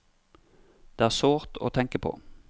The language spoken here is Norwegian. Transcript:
Det er sårt å tenke på.